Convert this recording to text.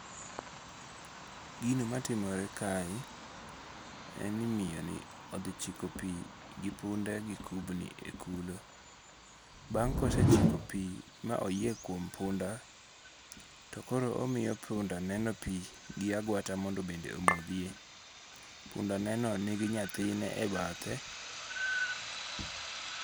Gino matimore kae, en ni miyoni othi chiko pi gi punde gi kubni e kulo, bang' kosechiko pi ma oyie kuom punda to koro omiyo pundaneno pi gi aguata mondo bende omothie, pundaneno nigi nyathine e bathe.